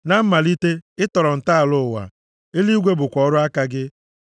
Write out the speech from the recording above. Na mmalite, ị tọrọ ntọala ụwa, eluigwe bụkwa ọrụ aka gị.